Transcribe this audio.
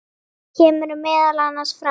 kemur meðal annars fram